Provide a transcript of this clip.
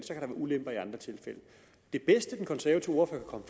det bedste den konservative ordfører